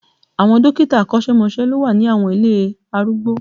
Àwọn dókítà akọ́sẹ́mọsẹ́ ló wà ní àwọn ilé arúgbó